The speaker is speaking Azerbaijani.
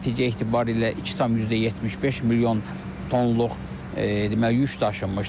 Nəticə etibarı ilə 2,75 milyon tonluq deməli yük daşınmışdır.